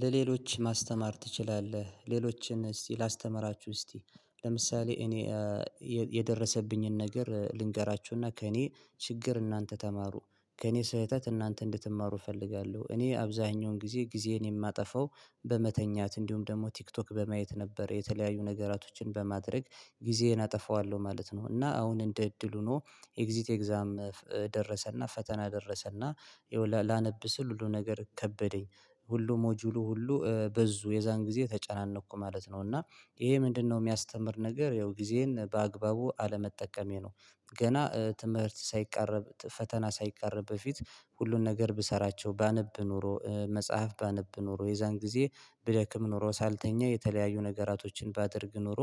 ለሌሎች ማስተማር ትችላለህ። ሌሎችን እስቲ ላስተምራችሁ እስቲ ለምሳሌ እኔ የደረሰብኝን ነገር ልንገራችሁና ከእኔ ችግር እናንተ ተማሩ። ከእኔ ስህተት እናንተ እንድትማሩ እፈልጋለሁ። እኔ አብዛኛውን ጊዜ ጊዜዬን የማጠፋው በመተኛት እንዲሁም ደግሞ ቲክቶክ በማየት ነበር። የተለያዩ ነገራቶችን በማድረግ ጊዜን አጠፋዋለሁ ማለት ነው እና አሁን እንደ እድል ሆኖ ኤግዚት ኤግዛም ደረሰና ፈተና ደረሰና ላነብ ስል ሁሉ ነገር ከበደኝ። ሁሉ ሞጁሉ ሁሉ በዙ የዛን ጊዜ ተጨናነቅኩ ማለት ነው እና ይሄ ምንድነው የሚያስተምር ነገር ያው ጊዜን በአግባቡ አለመጠቀሜ ነው። ገና ትምህርት ሳይቃረብ ፈተና ሳይቃረብ በፊት ሁሉን ነገር ብሰራቸው ባነብ ኖሮ መጽሐፍ ባነብ ኖሮ የዛን ጊዜ ብደክም ኖሮ ሳልተኛ የተለያዩ ነገራቶችን ባደርግ ኖሮ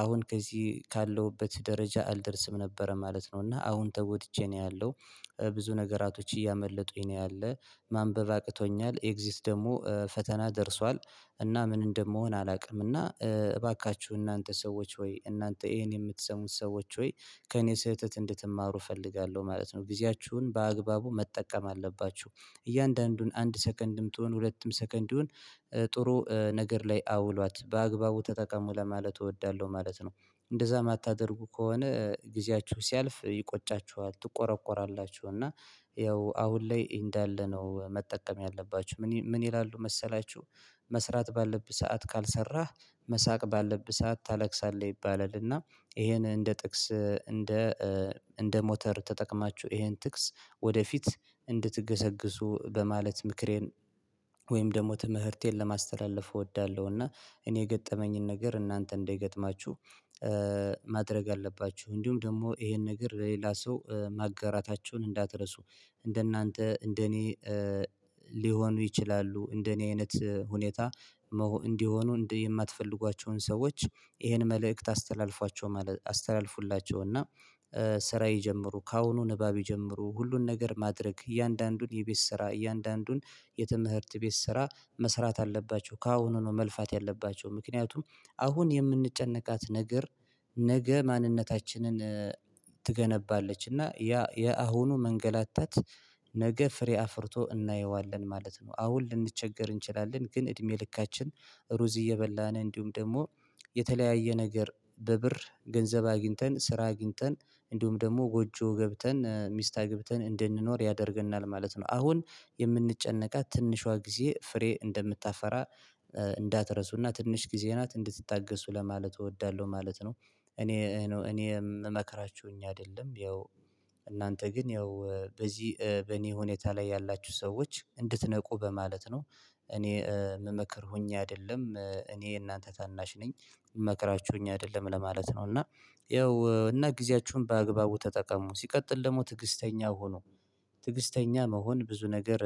አሁን ከዚህ ካለሁበት ደረጃ አልደርስም ነበረ ማለት ነው እና አሁን ተጎድቼ ነው ያለው። ብዙ ነገራቶች እያመለጡኝ ነው ያለው ማንበብ አቅቶኛል ኤግዚት ደግሞ ፈተና ደርሷል። እና ምን እንደምሆን አላውቅም እና እባካችሁ እናንተ ሰዎች ሆይ እናንተ ይሄን የምትሰሙት ሰዎች ሆይ ከእኔ ስህተት እንድትማሩ እፈልጋለሁ ማለት ነው ጊዜያችሁን በአግባቡ መጠቀም አለባችሁ እያንዳንዱን አንድ ሰከንድም ትሆን ሁለትም ሰከንድ ይሆን ጥሩ ነገር ላይ አውሏት በአግባቡ ተጠቀሙ። ለማለት እወዳለሁ ማለት ነው እንደዛ የማታደርጉ ከሆነ ጊዜያችሁ ሲያልፍ ይቆጫችኋል ትቆረቁራላችሁ እና ያው አሁን ላይ እንዳለ ነው መጠቀም ያለባችሁ። ምን ይላሉ መሰላችሁ መስራት ባለብህ ሰዓት ካልሰራህ መሳቅ ባለብህ ሰዓት ታለቅሳለህ ይባላል። እና ይሄን እንደ ጥቅስ እንደ እ ሞተር ተጠቅማችሁ ይሄን ጥቅስ ወደፊት እንድትገሰግሱ በማለት ምክሬን ወይም ደግሞ ትምህርቴን ለማስተላለፍ እወዳለሁ እና እኔ የገጠመኝን ነገር እናንተ እንደገጥማችሁ። ማድረግ አለባችሁ። እንዲሁም ደግሞ ይሄን ነገር ለሌላ ሰው ማጋራታቸውን እንዳትረሱ እንደናንተ እንደኔ ሊሆኑ ይችላሉ። እንደኔ አይነት ሁኔታ እንዲሆኑ እንዲህ የማትፈልጓቸውን ሰዎች ይሄን መልእክት አስተላልፍለቸው። ስራ ይጀምሩ። ከአሁኑ ንባብ ይጀምሩ ሁሉን ነገር ማድረግ እያንዳንዱን የቤት ስራ እያንዳንዱን የትምህርት ቤት ስራ መስራት አለባቸው። ከአሁኑ ነው መልፋት ያለባቸው ምክንያቱም አሁን የምንጨነቃት ነገር ነገ ማንነታችንን ትገነባለችእና ያ የአሁኑ መንገላታት ነገ ፍሬ አፍርቶ እናየዋለን ማለት ነው። አሁን ልንቸገር እንችላለን ግን እድሜ ልካችን ሩዝ እየበላን እንዲሁም ደግሞ የተለያየ ነገር በብር ገንዘብ አግኝተን ስራ አግኝተን እንዲሁም ደግሞ ጎጆ ገብተን ሚስት አግብተን እንድንኖር ያደርገናል። ማለት ነው አሁን የምንጨነቃት ትንሿ ጊዜ ፍሬ እንደምታፈራ እንዳትረሱና ትንሽ ጊዜ ናት እንድትታገሱ ለማለት እወዳለሁ። ማለት ነው እኔ መክራችሁኝ አይደለም ያው እናንተ ግን ያው በዚህ በእኔ ሁኔታ ላይ ያላችሁ ሰዎች እንድትነቁ በማለት ነው። እኔ የምመክር ሆኜ አይደለም። እኔ የእናንተ ታናሽ ነኝ የምመክራችሁ ሆኜ አይደለም ለማለት ነው እና ይኸው እና ጊዜያችሁን በአግባቡ ተጠቀሙ። ሲቀጥል ደግሞ ትዕግስተኛ ሆኖ ትዕግስተኛ መሆን ብዙ ነገር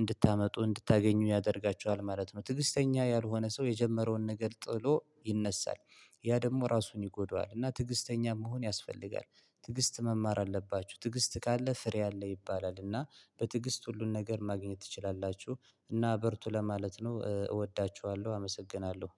እንድታመጡ እንድታገኙ ያደርጋቸዋል ማለት ነው። ትዕግስተኛ ያልሆነ ሰው የጀመረውን ነገር ጥሎ ይነሳል። ያ ደግሞ ራሱን ይጎዳዋል እና ትዕግስተኛ መሆን ያስፈልጋል። ትዕግስት መማር አለባችሁ ትዕግስት ካለ ፍሬ አለ ይባላል እና በትግስት ሁሉን ነገር ማግኘት ትችላላችሁ እና በርቱ ለማለት ነው እወዳችኋለሁ አመሰግናለሁ።